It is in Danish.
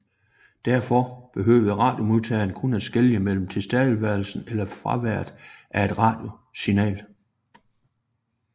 Derfor behøvede radiomodtagere kun at skelne mellem tilstedeværelsen eller fraværet af et radiosignal